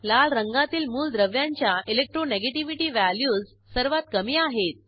लाल रंगातील मूलद्रव्यांच्या इलेक्ट्रोनेगेटिव्हिटी व्हॅल्यूज सर्वात कमी आहेत